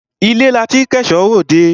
Ilé la tí k'ẹ̀ṣọ́ r'òdẹ.